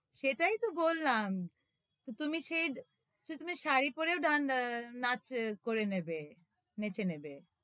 সেটাই তো বললাম তো তুমি সেই, তো তুমি শাড়ি পরেও ডান~ এর নাঁচ করে নেবে, নেঁচে নেবে।